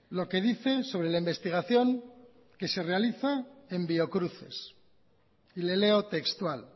lo que dicen sobre la investigación que se realiza en biocruces y le leo textual